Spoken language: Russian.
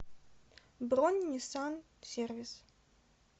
бронь ниссан сервис